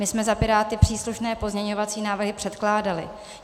My jsme za Piráty příslušné pozměňovací návrhy předkládali.